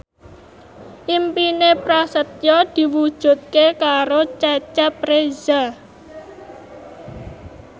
impine Prasetyo diwujudke karo Cecep Reza